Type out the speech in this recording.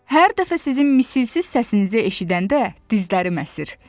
Hər dəfə sizin misilsiz səsinizi eşidəndə, dizlərim əsir.